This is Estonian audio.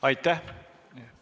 Aitäh!